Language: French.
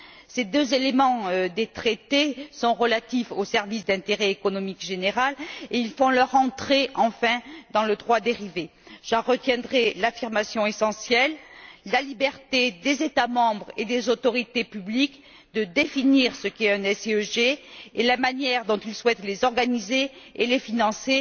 Ces deux éléments des traités sont relatifs aux services d'intérêt économique général et font leur entrée, enfin, dans le droit dérivé. J'en retiendrai l'affirmation essentielle la liberté des États membres et des autorités publiques de définir ce qu'est un SIEG et la manière dont ils souhaitent les organiser et les financer.